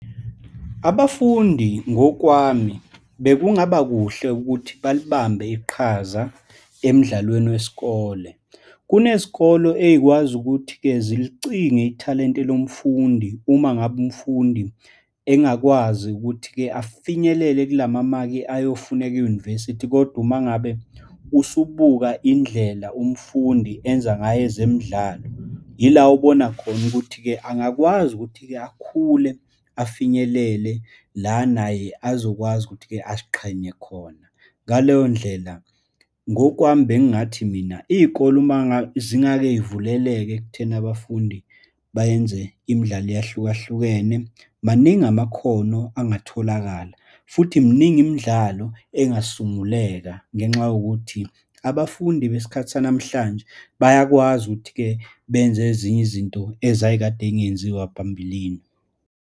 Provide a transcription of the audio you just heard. Abafundi ngokwami bekungaba kuhle ukuthi balibambe iqhaza emidlalweni wesikole. Kunezikolo eyikwazi ukuthi-ke zilicinge ithalente lomfundi uma ngabe umfundi engakwazi ukuthi-ke afinyelele kulama maki ayofuneka e-university. Kodwa uma ngabe usubuka indlela umfundi enza ngayo ezemidlalo, yila ubona khona ukuthi-ke angakwazi ukuthi-ke akhule, afinyelele la naye azokwazi ukuthi-ke aziqhenye khona. Ngaleyo ndlela, ngokwami bengingathi mina, iy'kole umangazingakezivuleleke ekutheni abafundi bayenze imidlalo eyahlukahlukene, maningi amakhono angatholakala, futhi miningi imidlalo engasunguleka ngenxa yokuthi abafundi besikhathi sanamhlanje bayakwazi ukuthi-ke benze ezinye izinto ezayikade yingenziwa phambilini.